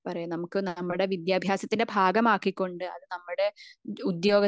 പറയാ നമുക് നമ്മുടെ വിദ്യാഭ്യാസത്തിന്റെ ഭാഗമാക്കി കൊണ്ട് അത് നമ്മുടെ ഉദ്യോഗത്തിന്റെ